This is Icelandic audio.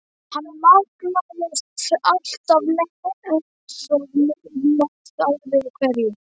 Hann magnaðist alltaf meir og meir með ári hverju.